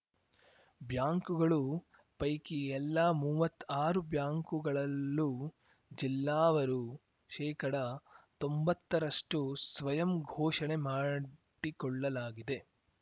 ಬ್ಯಾಂಕುಗಳು ಪೈಕಿ ಎಲ್ಲಾ ಮೂವತ್ತಾರು ಬ್ಯಾಂಕುಗಳಲ್ಲೂ ಜಿಲ್ಲಾವರು ಶೇಕಡತೊಂಬತ್ತ ರಷ್ಟುಸ್ವಯಂ ಘೋಷಣೆ ಮಾಡಿಕೊಳ್ಳಲಾಗಿದೆ